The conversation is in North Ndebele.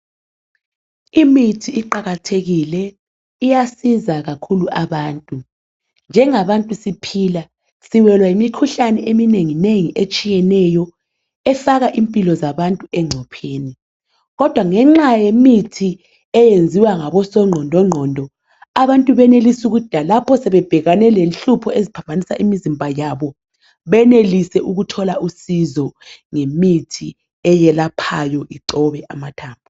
Imithi iqakathekile, iyasiza kakhulu abantu. Njengabantu siphila siwelwa yimikhuhlane eminengi nengi etshiyeneyo efaka impilo zabantu encupheni, kodwa ngenxa yemithi eyenziwa ngabosongqondo ngqondo abantu benelisa ukuthi lalapho sebebhekane lenhlupho esiphambanisa imizimba yabo benelise ukuthola usizo ngemithi eyelaphayo icobe amathambo.